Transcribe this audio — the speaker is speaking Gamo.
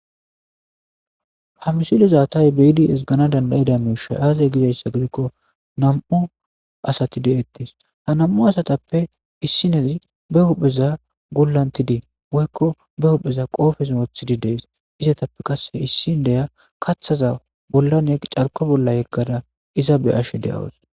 Ha misilo zaatay beyidi esgana danda7eda miushay aazey gizayssa gidikko nam7u asati de7ettis ha nam7u asatappe issinezi be huhpheza gullantidii woykko be hupheza qoofes wothidi dees izatappe qasse issin deya kathaza bollan y carko bolla yeggada iza be ashe de7awus